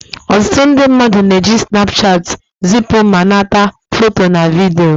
Ọtụtụ ndị mmadụ na-eji snapchat zipu ma nata foto na vidiyo